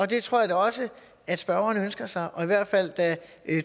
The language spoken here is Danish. det tror jeg da også at spørgeren ønsker sig og i hvert fald